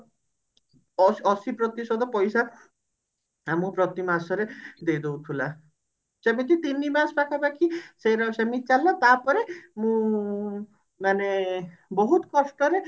ଅ ଅଶି ପ୍ରତିଶତ ପଇସା ଆମକୁ ପ୍ରତି ମାସରେ ଦେଇ ଦଉଥିଲା ସେମିତି ତିନିମାସ ପାଖାପାଖି ସେମିତି ଚାଲିଲା ତାପରେ ମୁଁ ମାନେ ବହୁତ କଷ୍ଟରେ